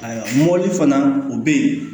Ayiwa mɔbili fana o be yen